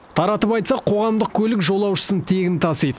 таратып айтсақ қоғамдық көлік жолаушысын тегін тасиды